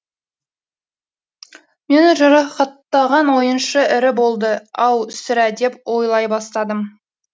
мені жарақаттаған ойыншы ірі болды ау сірә деп ойлай бастадым